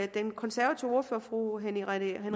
den konservative ordfører fru henriette